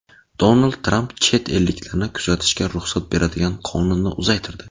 Donald Tramp chet elliklarni kuzatishga ruxsat beradigan qonunni uzaytirdi.